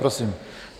Prosím.